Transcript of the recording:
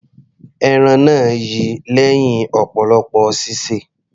Ẹran náà yi lẹ́hìn ọ̀pọ̀lọpọ̀ sísè.